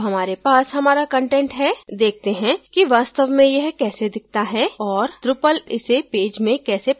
अब हमारे पास अपना कंटेंट है देखते हैं कि वास्तव में यह कैसे दिखता है और drupal इसे पेज में कैसे प्रस्तुत करता है